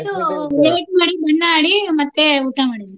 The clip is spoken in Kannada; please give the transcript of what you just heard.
ಇದು late ಮಾಡಿ ಬಣ್ಣ ಆಡಿ ಮತ್ತೆ ಊಟ ಮಾಡಿದ್ವಿ.